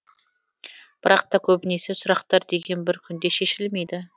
бірақ та көбінесе сұрақтар деген бір күнде шешілмейді